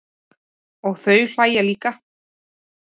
Og þau hlæja líka.